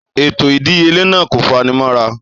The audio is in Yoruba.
Ètò ìdíyelé náà kò fanimọ́ra.